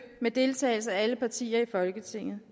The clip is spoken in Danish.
med deltagelse af alle partier i folketinget